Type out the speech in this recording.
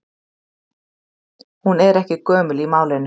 Hún er ekki gömul í málinu.